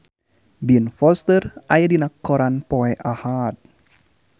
Ben Foster aya dina koran poe Ahad